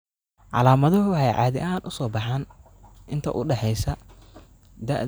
Calaamaduhu waxay caadi ahaan soo baxaan inta u dhaxaysa da'da tadab iyo lixdhaan iyo lix sano.